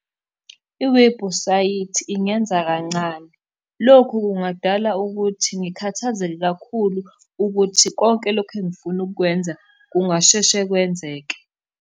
Iwebhusayithi ingenza kancane, lokhu kungadala ukuthi ngikhathazeke kakhulu ukuthi konke lokhu engifuna ukukwenza kungasheshe kwenzeke.